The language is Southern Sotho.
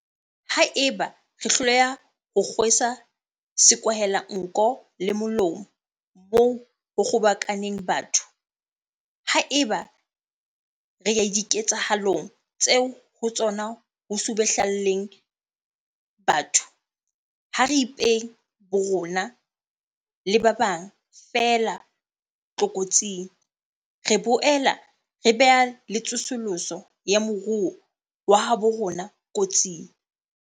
Haeba re hloleha ho kgwesa sekwahelanko le molomo moo ho kgobokaneng batho, haeba re ya diketsahalong tseo ho tsona ho subuhle llaneng batho, ha re ipee borona le ba bang feela tlokotsing, re boela re bea le tsosoloso ya moruo wa habo rona kotsing.